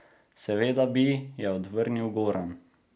Seveda bi, je odvrnil Goran.